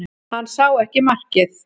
Hann sá ekki markið